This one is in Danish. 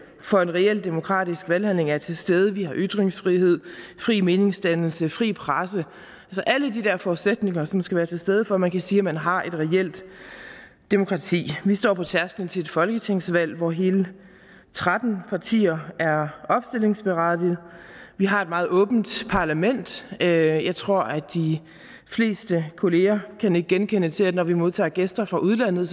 for en reel demokratisk valghandling er til stede vi har ytringsfrihed fri meningsdannelse fri presse alle de der forudsætninger som skal være til stede for at man kan sige at man har et reelt demokrati vi står på tærskelen til et folketingsvalg hvor hele tretten partier er opstillingsberettiget vi har et meget åbent parlament og jeg tror at de fleste kolleger kan nikke genkendende til at når vi modtager gæster fra udlandet